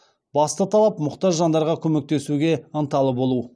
басты талап мұқтаж жандарға көмектесуге ынталы болу